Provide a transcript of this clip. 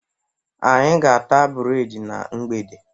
Anyị ga-ata breedi na mgbede